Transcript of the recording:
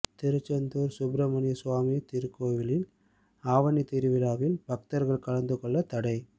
திருச்செந்தூர் சுப்பிரமணியசுவாமி திருக்கோவில் ஆவணி திருவிழாவில் பக்தர்கள் கலந்து கொள்ள தடை